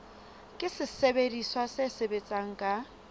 ke sesebediswa se sebetsang ka